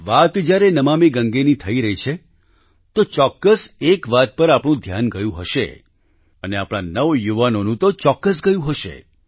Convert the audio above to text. વાત જ્યારે નમામિ ગંગે ની થઈ રહી છે તો ચોક્કસ એક વાત પર આપનું ધ્યાન ગયું હશે અને આપણા નવયુવાનોનું તો ચોક્કસ ગયું હશે